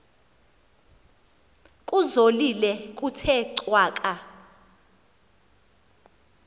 kuzolile kuthe cwaka